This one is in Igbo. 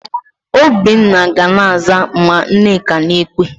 Obinna ga na-aza ma Nneka na-ekwe.